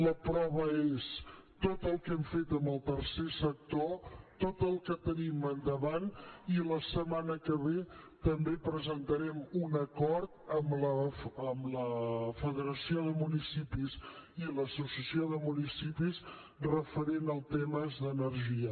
la prova és tot el que hem fet amb el tercer sector tot el que tenim endavant i la setmana que ve també presentarem un acord amb la federació de municipis i l’associació de municipis referent a temes d’energia